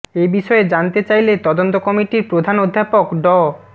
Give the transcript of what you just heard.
এ বিষয়ে জানতে চাইলে তদন্ত কমিটির প্রধান অধ্যাপক ড